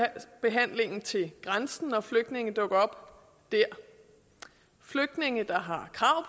at til grænsen når flygtninge dukker op dér flygtninge der har krav